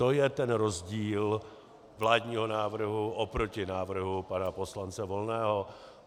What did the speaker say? To je ten rozdíl vládního návrhu oproti návrhu pana poslance Volného.